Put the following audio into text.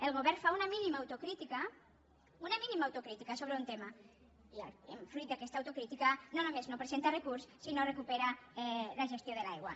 el govern fa una mínima autocrítica una mínima autocrítica sobre un tema i fruit d’aquesta autocrítica no només no presenta recurs sinó que recupera la gestió de l’aigua